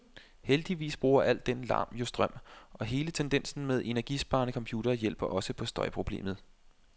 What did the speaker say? Heldigvis bruger al den larm jo strøm, og hele tendensen med energisparende computere hjælper også på støjproblemet.